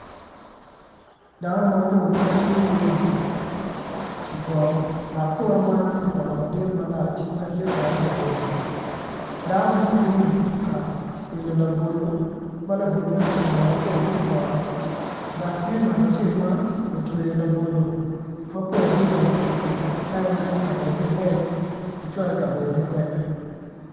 Dano mapol ma gin gubino i poto dok poto man tye poto madit malac dok tye poto labolo danoni gubino ka wilo labolo ma labolo bene kitongo mapol ki i poto dok tye ngat acel ma otweyo labolo mapol adada ite pikipiki ka en tye ka miti ingweci icwal ikabedo mukene.